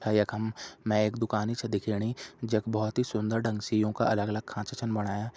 यखम में दुकान ही सी दिख्याणी जख बहुत ही सुन्दर ढंग सियों का अलग-गलग खांचा छीन बणाया।